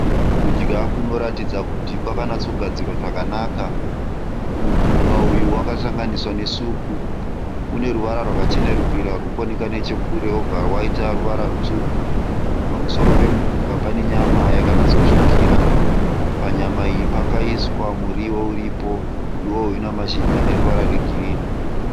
Kudya kunoratidza kuti kwakanatsogadzirwa zvakanaka. Mupunga uyu wakasanganiswa ne supu. Une ruvara rwakachenerukira ruri kuoneka nechekure robva raita ruvara rutsvuku. Pamusoro pemupunga pane nyama yakanatsotsvukira. Panyama iyi pakaiswa muriwo uripo, muriwo uyu unamashizha aneruvara rwegirinhi.